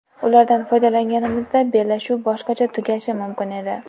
Ulardan foydalanganimizda bellashuv boshqacha tugashi mumkin edi.